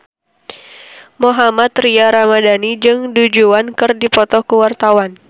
Mohammad Tria Ramadhani jeung Du Juan keur dipoto ku wartawan